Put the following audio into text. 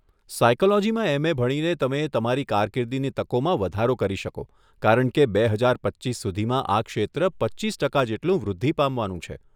સાયકોલોજીમાં MA. ભણીને તમે તમારી કારકિર્દીની તકોમાં વધારો કરી શકો કારણ કે બે હજાર પચીસ સુધીમાં આ ક્ષેત્ર પચીસ ટકા જેટલું વૃદ્ધિ પામવાનું છે.